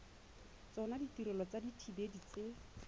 tsona ditirelo tsa dithibedi tse